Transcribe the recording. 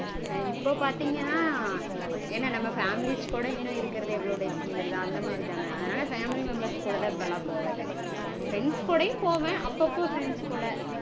இப்போ பாத்தீங்கனா என்ன நம்ம families கூட இன்னும் இருக்கறது எவ்ளோ days -ங்கறது அந்த மாதிரிதான. அதனால family members கூடதா இப்போலாம் போறது. Friends கூடையும் போவேன். அப்பப்போ friends கூட